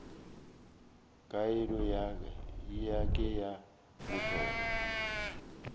keno ye ke ya mohlolo